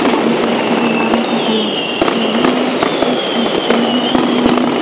चारों तरफ़ की दीवारों का कलर येलो है एक स्विच बोर्ड लगा हुआ है।